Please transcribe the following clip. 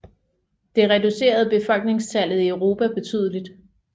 Det reducerede befolkningstallet i Europa betydeligt